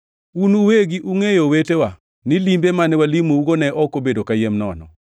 Un uwegi ungʼeyo, owetewa, ni limbe mane walimougo ne ok obedo kayiem nono.